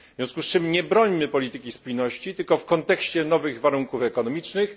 W związku z czym nie brońmy polityki spójności tylko w kontekście nowych warunków ekonomicznych.